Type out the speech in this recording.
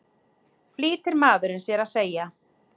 flýtir maðurinn sér að segja.